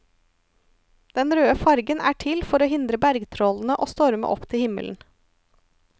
Den røde fargen er til for å hindre bergtrollene å storme opp til himmelen.